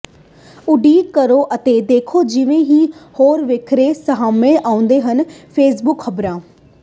ਉਡੀਕ ਕਰੋ ਅਤੇ ਦੇਖੋ ਜਿਵੇਂ ਹੀ ਹੋਰ ਵੇਰਵੇ ਸਾਹਮਣੇ ਆਉਂਦੇ ਹਨ ਫੇਸਬੁੱਕ ਖ਼ਬਰਾਂ